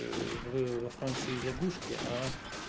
в во франции лягушки